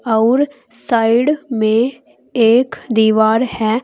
अउर साइड में एक दीवार है।